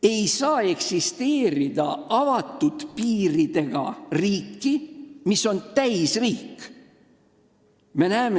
Ei saa eksisteerida avatud piiridega riiki, mis on nn täisriik.